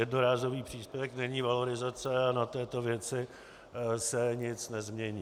Jednorázový příspěvek není valorizace a na této věci se nic nezmění.